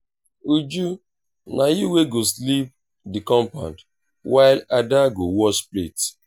uju na you wey go sweep the compound while ada go wash plate